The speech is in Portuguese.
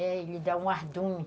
Ele dá um ardume.